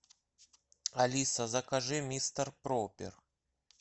алиса закажи мистер пропер